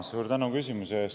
Suur tänu küsimuse eest!